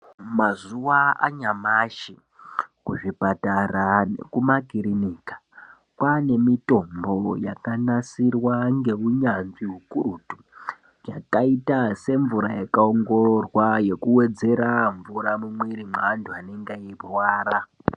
Mazuwa anyamashi kuzvipatara nekuma kirinika kwanemitombo yakanasirwa ngeunyanzvi hukurutu yakaita semvura yakaongororwa yekuwedzera mvura mumwiri mweantu anenge eyirwara.